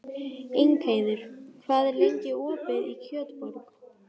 Ingheiður, hvað er lengi opið í Kjötborg?